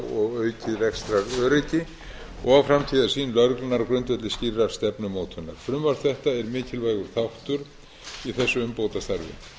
og aukið rekstraröryggi og framtíðarsýn lögreglunnar á grundvelli skýrrar stefnumótunar frumvarp þetta er mikilvægur átta í þessu umbótastarfi